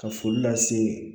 Ka foli lase